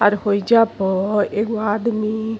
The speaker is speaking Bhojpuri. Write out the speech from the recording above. और होईजा प एगो आदमी --